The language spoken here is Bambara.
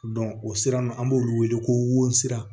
o sira ninnu an b'olu wele ko wosi sira